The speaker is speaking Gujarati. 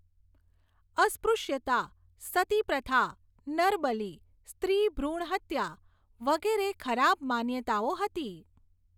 અસ્પૃશ્યતા, સતીપ્રથા, નરબલી, સ્ત્રી ભૃણહત્યા, વગેરે ખરાબ માન્યતાઓ હતી.